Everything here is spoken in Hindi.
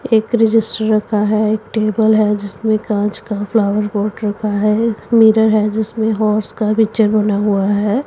एक रजिस्टर रखा हैं एक टेबल हैं जिसमें कांच का फ्लॉवर पॉट रखा हैं मिरर हैं जिसमें हॉर्स का पिक्चर बना हुआ हैं।